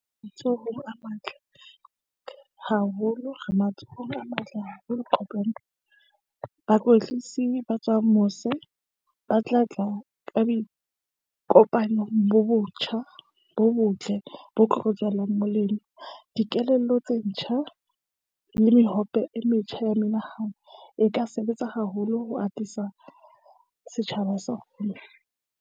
A matle haholo. Re matsohong a matle haholo bakwetlisi ba tswang mose ba tla tla ka dikopanong bo botjha bo botle bo tlo tswelang molemo. Dikelello tse ntjha le mehope e metjha ya menahano e ka sebetsa haholo ho atisa setjhaba sa .